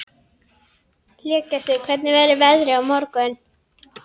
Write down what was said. Hlégestur, hvernig verður veðrið á morgun?